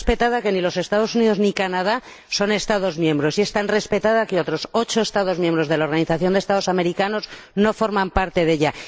Es tan respetada que ni los Estados Unidos ni Canadá son Estados miembros, y es tan respetada que otros ocho Estados miembros de la Organización de Estados Americanos no forman parte de ella.